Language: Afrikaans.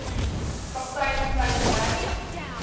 kaptein kleyn ry